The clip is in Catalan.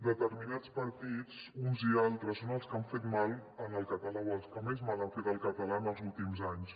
determinats partits uns i altres són els que han fet mal al català o els que més mal han fet al català en els últims anys